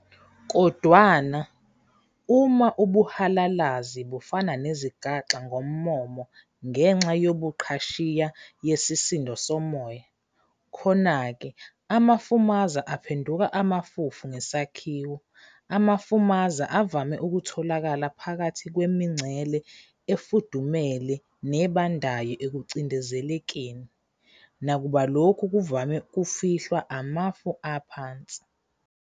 Kodwana, uma ubuhalalazi bufana nezigaxa ngommomo ngenxa yobuqhashiya yesisindo somoya, khona-ke amafumaza aphenduka amafufu ngesakhiwo. Amafumaza avame ukutholakala phakathi kwemingcele efudumele nebandayo ekucindezelekeni, nakuba lokhu kuvame ukufihlwa amafu aphansi.